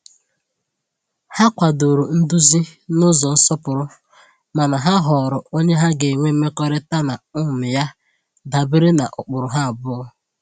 Ha kwadoro nduzi n’ụzọ nsọpụrụ, mana ha họọrọ onye ha ga-enwe mmekọrịta na um ya dabere na ụkpụrụ ha abụọ.